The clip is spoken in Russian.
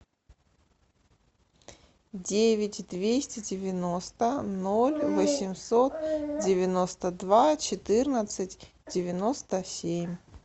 девять двести девяносто ноль восемьсот девяносто два четырнадцать девяносто семь